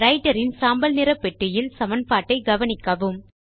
writer இன் சாம்பல் நிற பெட்டியில் சமன்பாட்டை கவனிக்கவும்